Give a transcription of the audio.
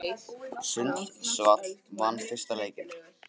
Sundsvall vann fyrsta leikinn